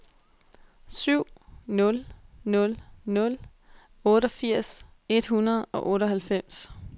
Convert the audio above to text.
syv nul nul nul otteogfirs et hundrede og otteoghalvfems